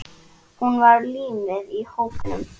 Hún var límið í hópnum.